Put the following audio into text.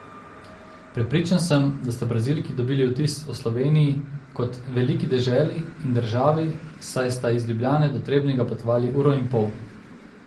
Prepričan sem, da sta Brazilki dobili vtis o Sloveniji kot veliki deželi in državi, saj sta iz Ljubljane do Trebnjega potovali uro in pol!